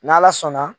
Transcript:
N'ala sɔnna